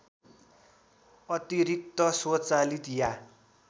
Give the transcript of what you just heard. अतिरिक्त स्वचालित या